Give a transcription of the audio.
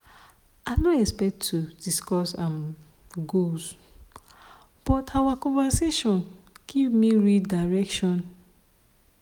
i no expect to discuss um goals but our conversation give me real direction.